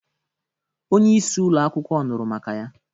Onyeisi ụlo akwụkwọ nụrụ maka ya,